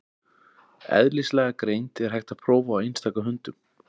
Eðlislæga greind er hægt að prófa á einstaka hundum.